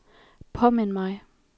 påmind mig